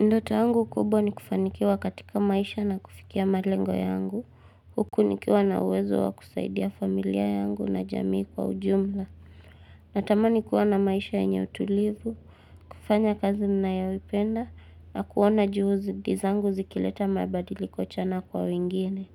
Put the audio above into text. Ndote yangu kubwa ni kufanikiwa katika maisha na kufikia malengo yangu, huku nikiwa na uwezo wa kusaidia familia yangu na jamii kwa ujumla. Natamani kuwa na maisha yenye utulivu, kufanya kazi ninayoipenda, na kuona juhudi zangu zikileta mabadiliko chanya kwa wengine.